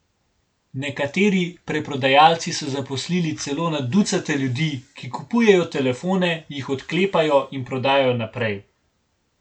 Nekateri preprodajalci so zaposlili celo na ducate ljudi, ki kupujejo telefone, jih odklepajo in prodajajo naprej.